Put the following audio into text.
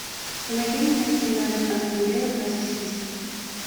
помоги мне найти матч астон вилла против сити